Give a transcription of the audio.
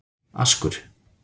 Askur